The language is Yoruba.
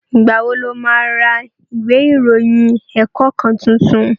Ìgbà wo lo ma ra ìwé ìròyìn ẹ̀kọ́ kan tuntun?